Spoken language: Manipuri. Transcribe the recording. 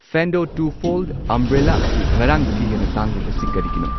ꯐꯦꯟꯗꯣ ꯇꯨ ꯐꯣꯜꯗ ꯑꯝꯕ꯭ꯔꯦꯂꯥ ꯑꯁꯤ ꯉꯔꯥꯡꯗꯒꯤ ꯍꯦꯟꯅ ꯇꯥꯡꯂꯤꯕꯁꯤ ꯀꯔꯤꯒꯤꯅꯣ?